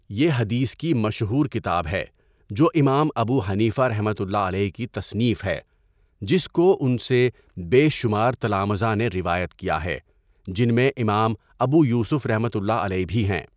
یہ حدیث کی مشہور کتاب ہے جو امام ابو حنیفہ رحمۃ اللہ علیہ کی تصنیف ہے، جس کو اُن سے بے شمار تلامذہ نے روایت کیا ہے، جن میں امام ابو یوسف رحمۃ اللہ علیہ بھی ہیں۔